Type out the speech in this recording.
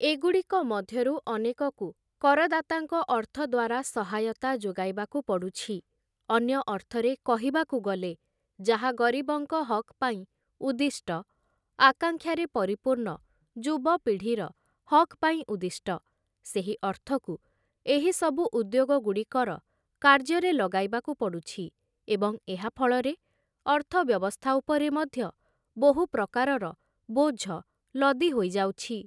ଏଗୁଡ଼ିକ ମଧ୍ୟରୁ ଅନେକକୁ କରଦାତାଙ୍କ ଅର୍ଥ ଦ୍ୱାରା ସହାୟତା ଯୋଗାଇବାକୁ ପଡ଼ୁଛି, ଅନ୍ୟ ଅର୍ଥରେ କହିବାକୁ ଗଲେ ଯାହା ଗରିବଙ୍କ ହକ୍ ପାଇଁ ଉଦ୍ଦିଷ୍ଟ, ଆଙ୍କାକ୍ଷାରେ ପରିପୂର୍ଣ୍ଣ ଯୁବପିଢ଼ିର ହକ୍ ପାଇଁ ଉଦ୍ଦିଷ୍ଟ, ସେହି ଅର୍ଥକୁ ଏହିସବୁ ଉଦ୍ୟୋଗଗୁଡ଼ିକର କାର୍ଯ୍ୟରେ ଲଗାଇବାକୁ ପଡ଼ୁଛି ଏବଂ ଏହା ଫଳରେ ଅର୍ଥ ବ୍ୟବସ୍ଥା ଉପରେ ମଧ୍ୟ ବହୁ ପ୍ରକାରର ବୋଝ ଲଦି ହୋଇଯାଉଛି ।